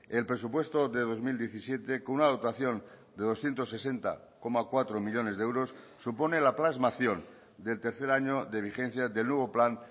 el presupuesto de dos mil diecisiete con una dotación de doscientos sesenta coma cuatro millónes de euros supone la plasmación del tercer año de vigencia del nuevo plan